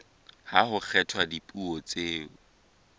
ha ho kgethwa dipuo tseo